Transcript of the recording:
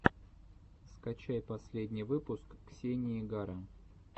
скачай последний выпуск ксении гара